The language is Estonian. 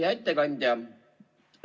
Hea ettekandja!